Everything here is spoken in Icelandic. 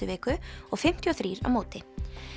viku og fimmtíu og þrjú á móti